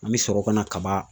An bɛ sɔrɔ ka na kaba